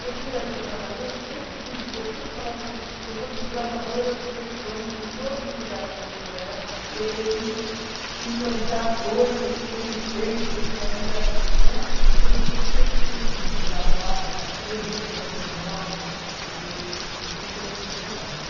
Todo lugar que eu trabalhei, eu sempre fui des, eu sempre falava assim, eu sou desbravadora dos sertões em todos os lugares que eu vou trabalhar e eu preciso implantar coisas porque não tem, porque ainda, né. Então eu fui sempre tendo que desbravar, aprender coisas novas para poder desenvolver meu trabalho.